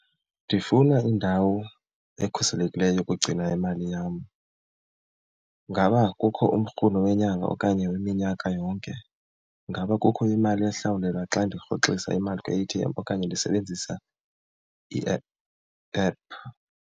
Ndifuna indawo ekhuselekileyo yokugcina imali yam. Ingaba kukho umrhumo wenyanga okanye weminyaka yonke? Ingaba kukho imali ehlawulelwa xa ndirhoxisa imali kwi-A_T_M okanye ndisebenzisa iephu, app?